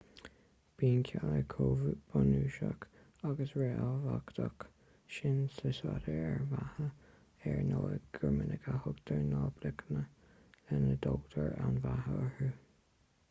bíonn cealla chomh bunúsach agus ríthábhachtach sin sa staidéar ar an mbeatha ar ndóigh gur minic a thugtar na bloicíní lena dtógtar an bheatha orthu